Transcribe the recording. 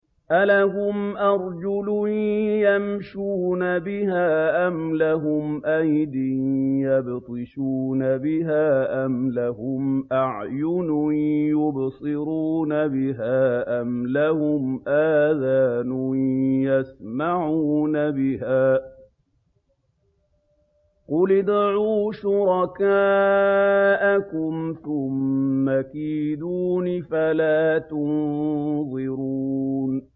أَلَهُمْ أَرْجُلٌ يَمْشُونَ بِهَا ۖ أَمْ لَهُمْ أَيْدٍ يَبْطِشُونَ بِهَا ۖ أَمْ لَهُمْ أَعْيُنٌ يُبْصِرُونَ بِهَا ۖ أَمْ لَهُمْ آذَانٌ يَسْمَعُونَ بِهَا ۗ قُلِ ادْعُوا شُرَكَاءَكُمْ ثُمَّ كِيدُونِ فَلَا تُنظِرُونِ